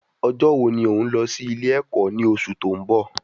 Ọ̀jọ wo ni òún lọ sí ilé ẹ̀kọ́ ní oṣù ti oun bọ̀?